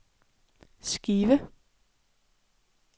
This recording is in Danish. skive